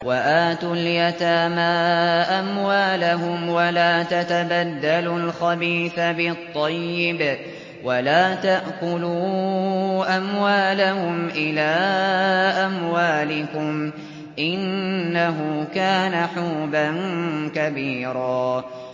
وَآتُوا الْيَتَامَىٰ أَمْوَالَهُمْ ۖ وَلَا تَتَبَدَّلُوا الْخَبِيثَ بِالطَّيِّبِ ۖ وَلَا تَأْكُلُوا أَمْوَالَهُمْ إِلَىٰ أَمْوَالِكُمْ ۚ إِنَّهُ كَانَ حُوبًا كَبِيرًا